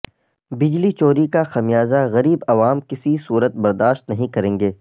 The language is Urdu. بجلی چوری کا خمیازہ غریب عوام کسی صورت برداشت نہیں کریں گے